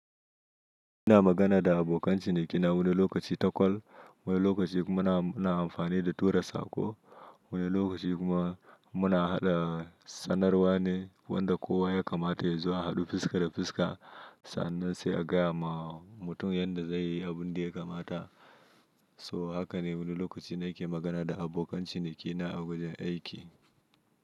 Ina magana da abokan cinikina wani lokaci ta call, wani lokaci kuma ana amfani da turan sako, wani lokaci kuma muna haɗa sanarwa ne wanda kowa ya kamata ya zuwa haɗu fuska da fuska sannan sai a gaya wa mutum yadda zai yi abun da ya kamata. So haka ne wani lokaci na ke magana da abokan cinikina a wajen aiki.